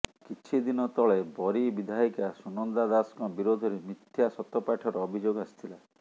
କିଛିଦିନ ତଳେ ବରୀ ବିଧାୟିକା ସୁନନ୍ଦା ଦାସଙ୍କ ବିରୋଧରେ ମିଥ୍ୟା ସତ୍ୟପାଠର ଅଭିଯୋଗ ଆସିଥିଲା